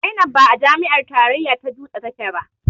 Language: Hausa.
Zainab ba a jami'ar tarayya ta dutse take ba